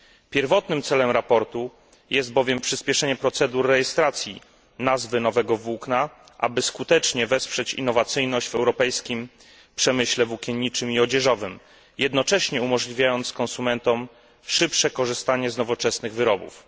Pierwotnym celem raportu jest bowiem przyspieszenie procedur rejestracji nazwy nowego włókna, aby skutecznie wesprzeć innowacyjność w europejskim przemyśle włókienniczym i odzieżowym, jednocześnie umożliwiając konsumentom szybsze korzystanie z nowoczesnych wyrobów.